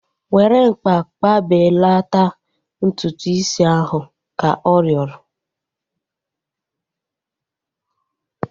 Were mkpa kpụbelata ntutu is ahu! Ka ọ rịọrọ